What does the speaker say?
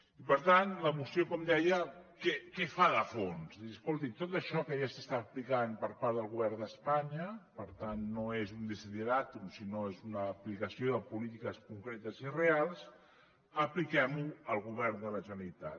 i per tant la moció com deia què fa de fons dir escolti tot això que ja s’està aplicant per part del govern d’espanya per tant no és un desideràtum sinó que és una aplicació de polítiques concretes i reals apliquem ho al govern de la generalitat